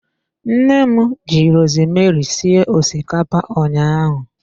Nne m ji rosemeri sie osikapa ụnyaahụ.